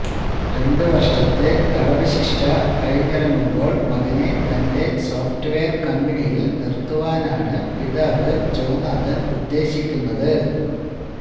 രണ്ട് വർഷത്തെ തടവ്ശിക്ഷ കഴിഞ്ഞിറങ്ങുമ്പോൾ മകനെ തന്റെ സോഫ്റ്റ്വെയർ കമ്പനിയിൽ നിർത്തുവാനാണ് പിതാവ് ജോനാഥൻ ഉദ്ദേശിക്കുന്നത്